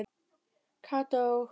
Kata og